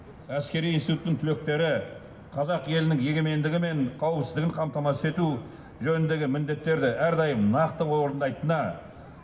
әскери институттың түлектері қазақ елінің егемендігі мен қауіпсіздігін қамтамасыз ету жөніндегі міндеттерді әрдайым нақты орындайтынына